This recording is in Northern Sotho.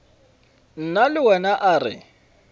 nna le wena a re